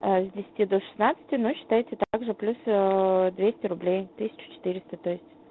с десяти до шестнадцати ну считайте также плюс двести рублей тысяча четыреста то есть